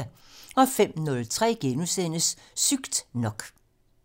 05:03: Sygt nok *